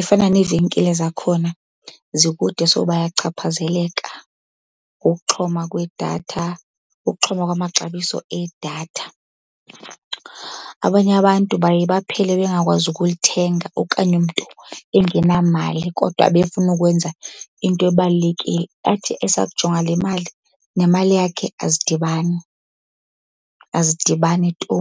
Ifana neevenkile zakhona zikude, so bayachaphazeleka ngokuxhoma kwedatha, ukuxhoma kwamaxabiso edatha. Abanye abantu baye baphele bengakwazi ukulithenga okanye umntu engenamali kodwa ebefuna ukwenza into ebalulekile. Athi esakujonga le mali nemali yakhe azidibani, azidibani tu.